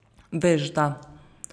Vešda.